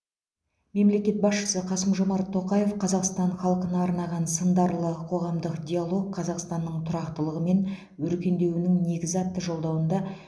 мемлекет басшысы қасым жомарт тоқаев қазақстан халқына арнаған сындарлы қорғамдық диалог қазақстанның тұрақтылығы мен өркендеуінің негізі атты жолдауында